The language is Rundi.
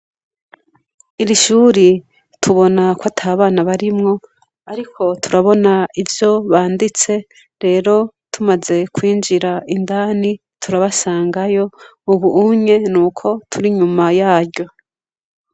Iri shuri tubona ko ata bana barimwo, ariko turabona ivyo banditse, rero tumaze kwinjira indani turabona ivyo banditse, ubu nuko turi inyuma yaryo.